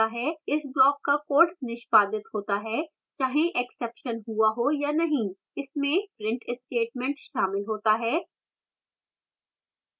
इस block का code निष्पादित होता है चाहे exception हुआ हो या नहीं इसमें print statement शामिल होता है